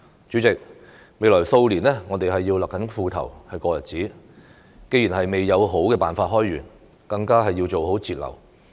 主席，未來數年我們要勒緊褲頭過日子，既然未有好辦法開源，更要做好節流。